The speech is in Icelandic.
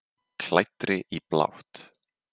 Klæddri í blátt.